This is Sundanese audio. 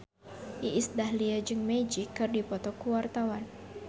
Iis Dahlia jeung Magic keur dipoto ku wartawan